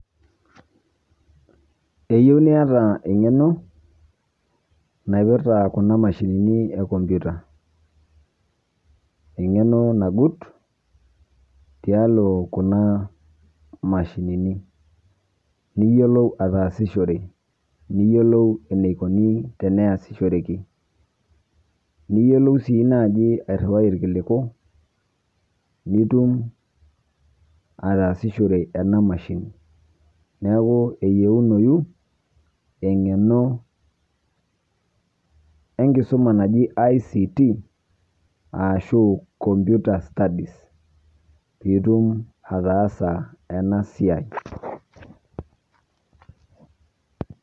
Keyieu niata eng'eno naipirrta kuna Mashinini e computer eng'eno nagut tialo kuna Mashinini niyiolou ataasishore, niyiolou eneikoni teneyasishoreki, niyiolou sii naaji airriwai irkiliku nitum ataasishore ena mashini neeku eyiunoyu eng'eno enkisuma naji I.C.T, ashu computer studies piitumoki ataasa ena siaai.